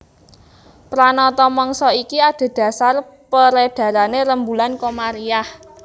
Pranata mangsa iki adhedhasar perédharané rembulan Komariah